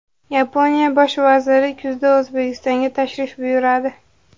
Yaponiya bosh vaziri kuzda O‘zbekistonga tashrif buyuradi.